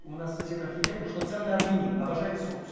у нас сосед архитектор что ценный армянин обожает сосус